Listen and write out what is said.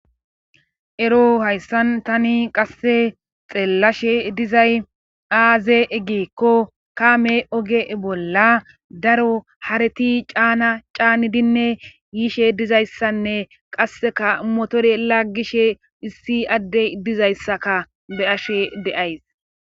Ero hayssan tani qasse xeellashe dizay aaze eggeekko kaame oge bolla daro hareti caana caanidinne yiishe dizayssanne qasseka motore laggishe issi addey dizayssaka be ashe deays.